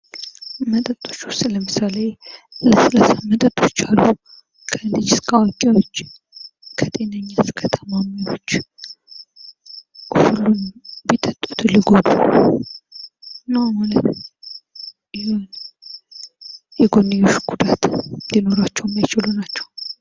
መጠጦች ውስጥ ለምሳሌ ለስላሳ መጠጦች አሉ ከልጅ እስከዋቂ ከጤነኛ እስከታማሚዎች ሁሉም የሚጠጡት መጠጥ ነው ማለት ነው የጎንዮሽ ጉዳት ሊኖራቸው የሚችሉ ናቸው።